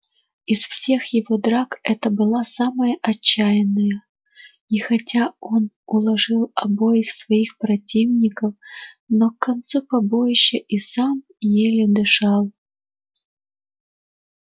из всех его драк это была самая отчаянная и хотя он уложил обоих своих противников но к концу побоища и сам еле дышал